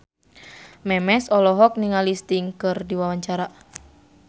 Memes olohok ningali Sting keur diwawancara